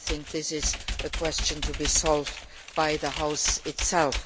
I think this is a question to be solved by the House itself.